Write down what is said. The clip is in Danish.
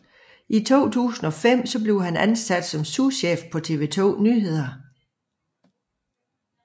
I 2005 blev han ansat som souschef på TV 2 Nyhederne